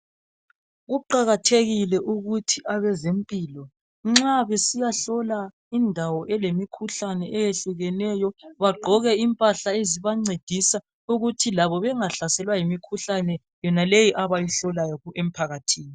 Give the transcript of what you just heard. Kuqakathekile ukuthi abazemphilo, nxa besiyahlola indawo elemikhuhlane eyehlukeneyo, bagqoke imphahla ezibancedisa ukuthi labo bengahlasela yimkhuhlane yena leyi abayihlolayo emphakathini.